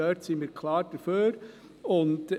Damit sind wir klar einverstanden.